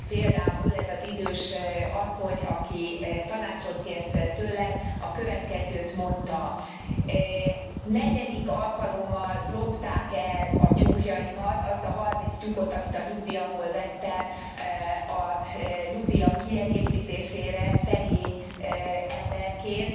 Például ez az idős asszony, aki tanácsot kért tőlem, a következőt mondta Negyedik alkalommal lopták el a tyúkjaimat, azt a 30 tyúkot, amit a nyugdíjamból vettem a nyugdíjam kiegészítésére, szegény emberként.